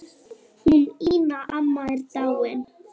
Hún Ína amma er dáin.